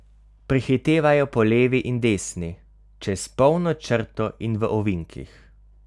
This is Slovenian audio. Prehitevajo po levi in desni, čez polno črto in v ovinkih.